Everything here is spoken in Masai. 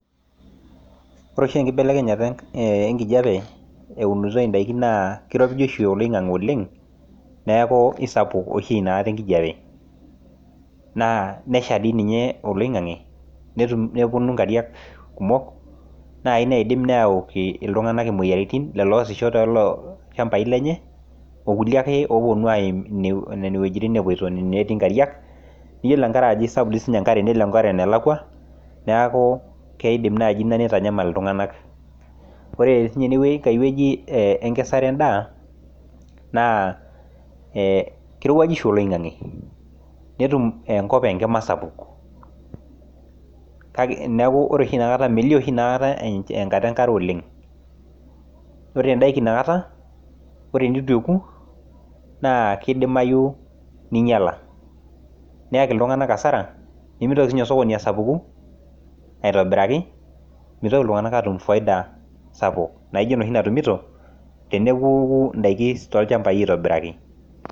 Ore eshi enkibelekenyata enkijepe eunitoi indaki naa keiropiju oshi eloing'ang'e oleng, naaku isapuk oshi inakatai inkijepe, naa nesha dei ninye oloing'ang'e netum neponu inkariak kumok nai naidim neaki iltunganak imoyiaritin lelo oasisho to loo ilshambai lenye, olkule ake oponu aim nenia wejitin epoito netii inkariak, niyolo tengaraki esapuk sii dei oshi ninye inkare enelakwa naaku keidim naaji neitanyamal iltunganak, ore ene inkae weji keisarenda naa keirewuaju oshi eloing'ang'e netum enkop enkima sapuk, kake neaku ore oshi inakata enkata enkare oleng, ore endaki inakata, ore enetu ekuu naa keidimayu neinyala neaki iltunganak asara, nemeitoki sii ninye osokoni asapuku aitobiraki, meitoki iltunganak aatum efaida sapuk noshi natumuto teneku indaki too ilchambai aitobiraki.